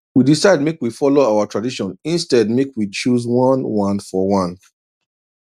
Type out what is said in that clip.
we decide make we follow our tradition instead make we choose one one for one